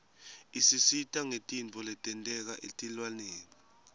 isisita ngetintfo letenteka etilwaneni